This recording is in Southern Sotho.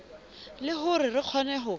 le hore re kgone ho